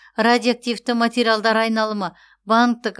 радиоактивті материалдар айналымы банктік